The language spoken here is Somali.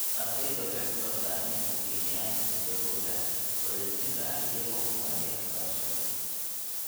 Ardayda waxay ku bartaan inay ku qiimeeyaan hidahooda wadajirka ah iyagoo u maraya waxbarashada.